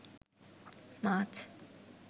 মাছ